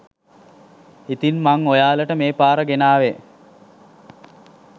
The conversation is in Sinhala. ඉතින් මන් ඔයාලට මේ පාර ගෙනාවේ